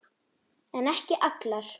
En ekki allar.